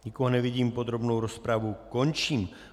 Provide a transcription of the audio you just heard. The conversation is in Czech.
Nikoho nevidím, podrobnou rozpravu končím.